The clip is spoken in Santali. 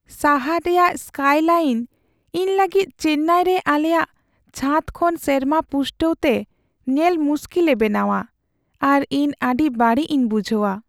ᱥᱟᱦᱟᱨ ᱨᱮᱭᱟᱜ ᱥᱠᱟᱭᱼᱞᱟᱭᱤᱱ ᱤᱧ ᱞᱟᱹᱜᱤᱫ ᱪᱮᱱᱱᱟᱭ ᱨᱮ ᱟᱞᱮᱭᱟᱜ ᱪᱷᱟᱛ ᱠᱷᱚᱱ ᱥᱮᱨᱢᱟ ᱯᱩᱥᱴᱟᱹᱣ ᱛᱮ ᱧᱮᱞ ᱢᱩᱥᱠᱤᱞᱮ ᱵᱮᱱᱟᱣᱟ ᱟᱨ ᱤᱧ ᱟᱹᱰᱤ ᱵᱟᱹᱲᱤᱡ ᱤᱧ ᱵᱩᱡᱷᱟᱹᱣᱟ ᱾